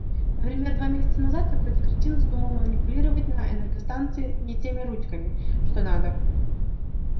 например два месяца назад какой-то кретин вздумал манипулировать на энергостанции не теми ручками что надо